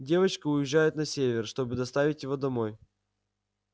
девочки уезжают на север чтобы доставить его домой